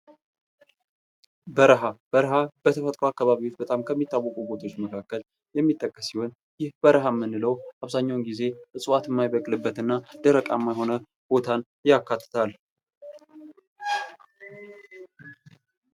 በረኻ በርሀ በተፈጥሮ አካባቢ በጣም ከሚታወቁት ቦታዎች መካከል የሚጠቅስ ሲሆን ይህ በርሀ የምንለው አብዛኛውን ጊዜ ዕፅዋት የማይበቅልበት እና ደረቃማ የሆነ ቦታን ያካትታልል።